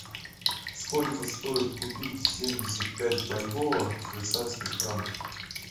сколько стоит купить семьдесят пять бальбоа в швейцарских франках